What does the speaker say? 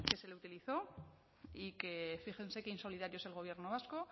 se le utilizó y que fíjense qué insolidarios el gobierno vasco